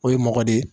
O ye mɔgɔ de ye